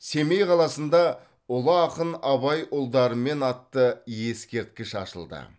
семей қаласында ұлы ақын абай ұлдарымен атты ескерткіш ашылды